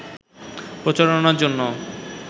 প্রচারণার জন্য